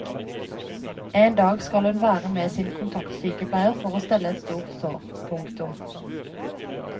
En dag skal hun være med sin kontaktsykepleier for å stelle et stort sår. punktum